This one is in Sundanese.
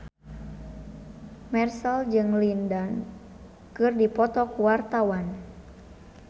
Marchell jeung Lin Dan keur dipoto ku wartawan